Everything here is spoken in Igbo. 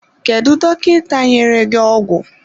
Kedu dọkịta nyere gị ọgwụ?